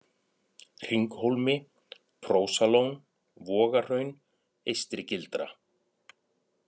Hringhólmi, Prósalón, Vogahraun, Eystri-Gildra